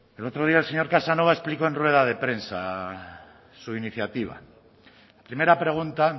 el otro día el señor casanova explicó en rueda de prensa su iniciativa primera pregunta